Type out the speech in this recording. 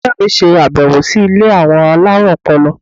Ilé iṣẹ́ mi ṣe abẹwo sí ilé àwọn alárùn ọpọlọ.